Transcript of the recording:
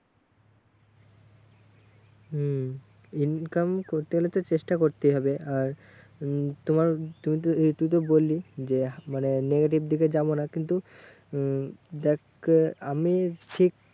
হম income করতে গেলে তো চেষ্টা করতেই হবে। আর উম তোমার তুইতো এই তুইতো বললি যে মানে negative দিকে যাবো না, কিন্তু উম দেখ আহ আমি শিখ